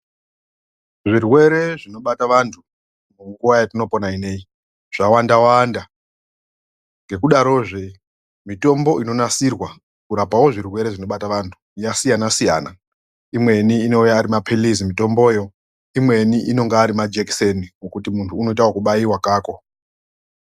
Zvirwere zvinobata vantu munguva yatinopona ineyi zvawanda wanda ngekudarozve mitombo inonasirwa kurapawo zvirwere zvinobata vantu yasiyana siyana imweni inouya arima pilizi mitomboyo, imweni inonga arima jekiseni ekuti muntu unoite ekubayiwa kako.